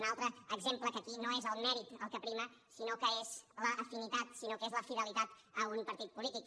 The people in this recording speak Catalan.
un altre exemple que aquí no és el mèrit el que prima sinó que és l’afinitat sinó que és la fidelitat a un partit polític